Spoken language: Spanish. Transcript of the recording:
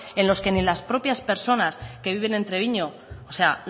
en los que ni las propias personas que viven en treviño o sea